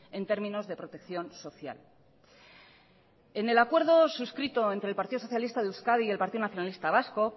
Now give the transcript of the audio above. en términos de protección social en el acuerdo suscrito entre el partido socialista de euskadi y el partido nacionalista vasco